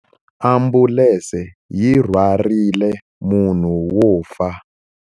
Ambulense yi rhwarile munhu wo fa.